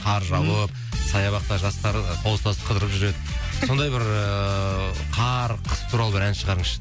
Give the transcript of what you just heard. қар жауып саябақта жастар қол ұстасып қыдырып жүреді сондай бір ііі қар қыс туралы бір ән шығарыңызшы